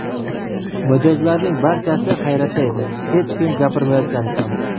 Mijozlarning barchasi hayratda edi, hech kim gapirmayotgandi ham.